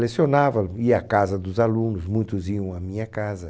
Lecionava, ia à casa dos alunos, muitos iam à minha casa.